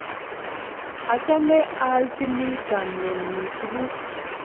achame a alchini chamyet nyu tuguk